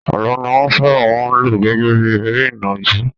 Àlọ́ ni wọ́n sábà máa ń lò gẹ́gẹ́ bí eré ìnàjú.